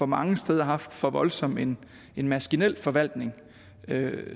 mange steder haft for voldsom en en maskinel forvaltning